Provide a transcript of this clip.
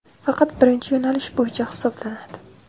faqat birinchi yo‘nalish bo‘yicha hisoblanadi.